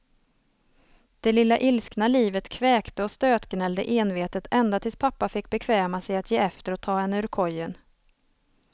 Det lilla ilskna livet kväkte och stötgnällde envetet ända tills pappa fick bekväma sig att ge efter och ta henne ur kojen.